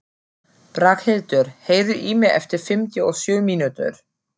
Braghildur, heyrðu í mér eftir fimmtíu og sjö mínútur.